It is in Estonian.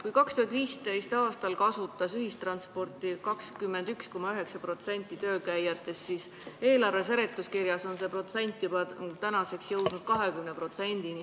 Kui 2015. aastal kasutas ühistransporti 21,9% töölkäijatest, siis eelarve seletuskirja kohaselt on see protsent tänaseks jõudnud 20-ni.